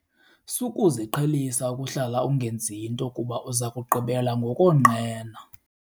Sukuziqhelisa ukuhlala ungenzi nto kuba uza kugqibela ngokonqena.